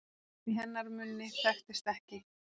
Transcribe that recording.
Í hennar munni þekktist ekki